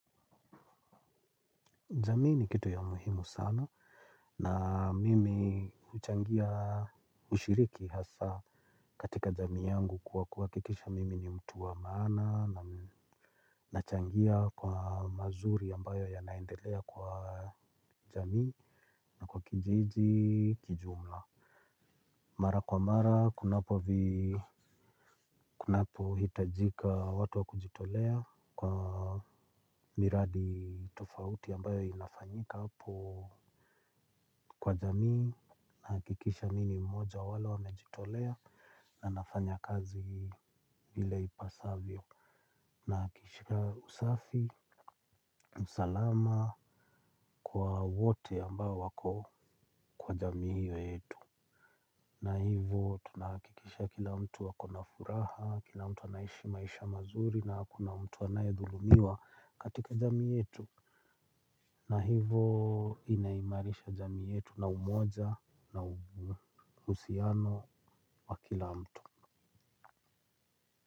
Jamii ni kitu ya muhimu sana na mimi huchangia ushiriki hasa katika jamii yangu kuwa kuhakikisha mimi ni mtu wa maana na nachangia kwa mazuri ambayo yanaendelea kwa jamii na kwa kijiji kijumla. Mara kwa mara kunapo hitajika watu wa kujitolea kwa miradi tofauti ambayo inafanyika hapo. Kwa jamii nahakikisha mi ni mmoja wa wale wamejitolea na nafanya kazi vile ipasavyo. Nahakikisha usafi, usalama kwa wote ambao wako kwa jamii hiyo yetu. Na hivo tunahakikisha kila mtu ako na furaha, kila mtu anaishi maisha mazuri na hakuna mtu anayedhulumiwa katika jamii yetu. Na hivo inaimarisha jamii yetu na umoja na uhusiano wa kila mtu.